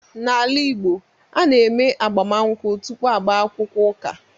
N’ala Igbo, a na-eme agbamụnkwụ tupu agbaakwukwọ ụka.